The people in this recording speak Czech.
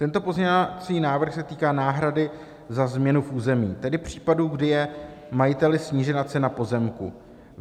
Tento pozměňovací návrh se týká náhrady za změnu v území, tedy případu, kdy je majiteli snížena cena pozemku.